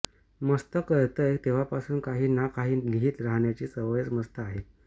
मस्त कळतंय तेव्हापासून काही ना काही लिहीत राहण्याची सवयच मस्त आहे